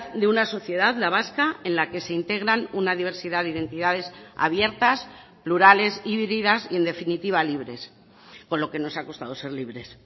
de una sociedad la vasca en la que se integran una diversidad de identidades abiertas plurales y vívidas y en definitiva libres con lo que nos ha costado ser libres